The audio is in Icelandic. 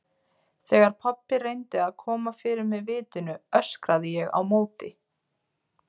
Þegar pabbi reyndi að koma fyrir mig vitinu öskraði ég á móti.